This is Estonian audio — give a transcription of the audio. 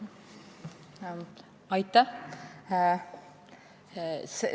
Aitäh!